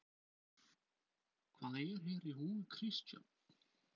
Hvað er hér í húfi Kristján?